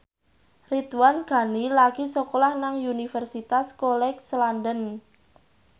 Ridwan Ghani lagi sekolah nang Universitas College London